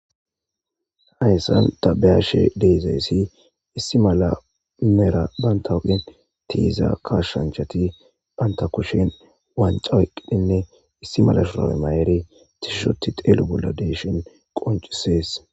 hayssan ta beyashe deezayssi issi mala mera banta huphen tiiza kashshanchati banta kushin wanca weqqidhinne issi mala shurae mayeri tishushoti teelu bolla deeshin qoncisees